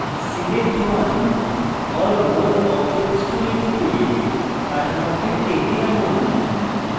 select one or more objects tool টিপে কাঠামোটি টেনে আনুন